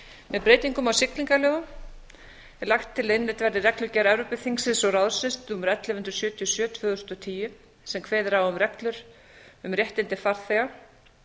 með breytingum á siglingalögum er lagt til að innleidd verði reglugerð evrópuþingsins og ráðsins númer ellefu hundruð sjötíu og sjö tvö þúsund og tíu sem kveður á um reglur um réttindi farþega